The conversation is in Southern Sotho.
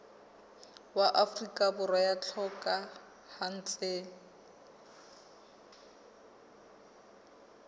wa afrika borwa ya hlokahetseng